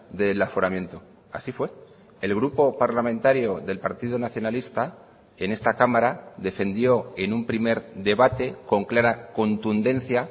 del aforamiento así fue el grupo parlamentario del partido nacionalista en esta cámara defendió en un primer debate con clara contundencia